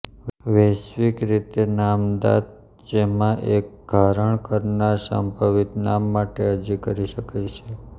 વૈશ્વિક રીતે નામદા ત જેમાં એક ધારણ કરનાર સંભવિત નામ માટે અરજી કરી શકે છે